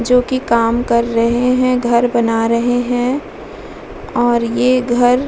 जो की काम कर रहे हैं घर बना रहे हैं और ये घर --